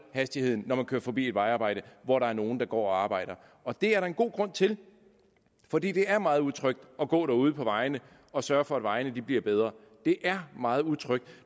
hastigheden når man kører forbi et vejarbejde hvor der er nogle der går og arbejder og det er der en god grund til for det det er meget utrygt at gå derude på vejene og sørge for at vejene bliver bedre det er meget utrygt